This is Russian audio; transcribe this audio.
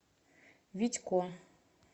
витько